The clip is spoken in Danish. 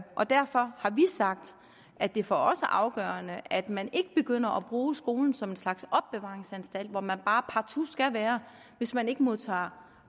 og derfor har vi sagt at det for os er afgørende at man ikke begynder at bruge skolen som en slags opbevaringsanstalt hvor man bare partout skal være hvis man ikke modtager